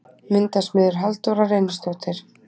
Myndasmiður: Halldóra Reynisdóttir.